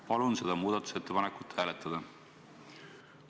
Palun seda muudatusettepanekut hääletada!